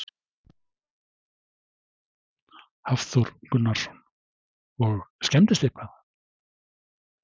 Hafþór Gunnarsson: Og skemmdist eitthvað?